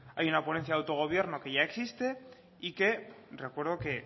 hay una ponencia de autogobierno que ya existe y que recuerdo que